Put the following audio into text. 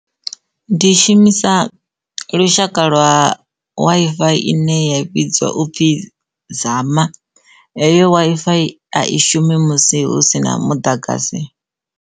Ndi i shumisa lushaka lwa Wi-Fi ine ya vhidzwa upfhi zama heyo Wi-Fi a i shumi musi hu si na muḓagasi.